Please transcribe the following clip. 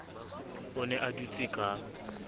o ne a dutse ka